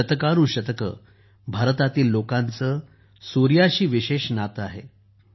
शतकानुशतके भारतातील लोकांचे सूर्याशी विशेष नाते आहे